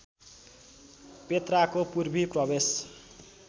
पेत्राको पूर्वी प्रवेश